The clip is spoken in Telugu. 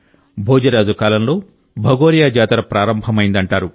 భోజరాజు కాలంలో భగోరియా జాతర ప్రారంభమైందంటారు